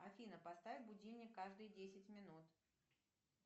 афина поставь будильник каждые десять минут